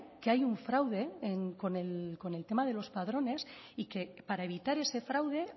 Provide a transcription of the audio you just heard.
que hay un fraude con el tema de los padrones y que para evitar ese fraude